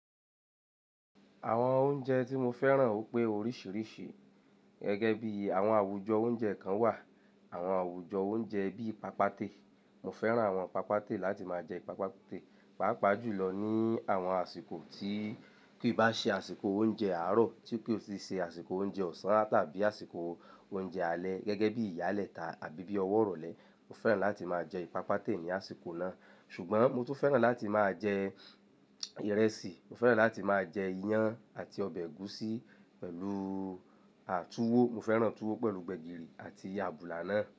Àwọn oúnjẹ tí mo fẹ́ràn ó pé oríṣìíríṣìí gẹ́gẹ́ bí àwọn àwùjọ oúnjẹ kan wà, àwọn àwùjọ oúnjẹ bí ipàápàá tè. Mo fẹ́ràn àwọn ipàápàá tè láti máa jẹ ipàápàá tè, pàápàá jùlọ ní àwọn àsìkò tí kí i bá ṣe àsìkò oúnjẹ àárọ̀, tí kí ó sì ṣe àsìkò oúnjẹ ọ̀sán tàbí àsìkò oúnjẹ alẹ́ gẹ́gẹ́ bí ìyálẹta àbí bí ọwọ́ rọlẹ̀. Mo fẹ́ràn láti máa jẹ ìpàápàá tè ní àsìkò náà. Ṣùgbọ́n mo tún fẹ́ràn láti máa jẹ ìrẹsì, mo fẹ́ràn láti máa jẹ iyán àti ọbẹ̀ ẹ̀gúsí pẹ̀lú tuwọ. Mo fẹ́ràn tuwó pẹ̀lú gbẹ̀gìrì àti àbùlà náà.